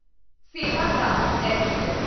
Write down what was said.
Sevagram express